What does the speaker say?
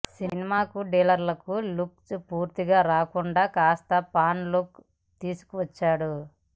సినిమాకు thriller look పూర్తిగా రాకుండా కాస్త ఫన్ లుక్ తీసుకువచ్చాడు